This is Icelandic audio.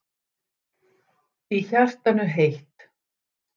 Í hjartanu heitt.